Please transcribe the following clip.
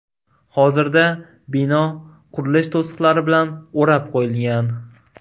Hozirda bino qurilish to‘siqlari bilan o‘rab qo‘yilgan.